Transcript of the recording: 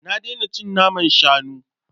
Na daina cin naman shanu.